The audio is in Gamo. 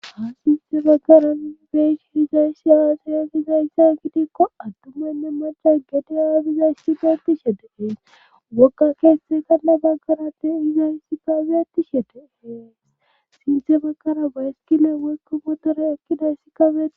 Ha sinthe baggaran beshiizayshi yaasayagizayssa gidikko attumaynne maca gedi aabizays tifetishhe deqeen wokka keestey kanna baggarate izayssi kabettishete heeqs sinthe baggara bayskila weykko motore ekkidayssi kafei